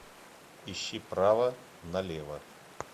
ищи право на лево